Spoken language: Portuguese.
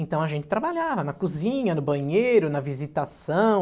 Então a gente trabalhava na cozinha, no banheiro, na visitação.